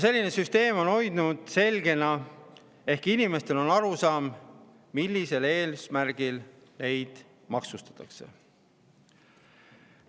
Selline süsteem on olnud selge ehk inimestel on olnud arusaam, millisel eesmärgil neid maksustatakse.